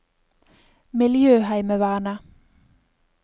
miljøheimevernet